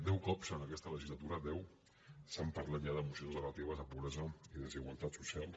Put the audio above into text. deu cops en aquesta legislatura deu s’ha parlat ja de mocions relatives a pobresa i desigualtat social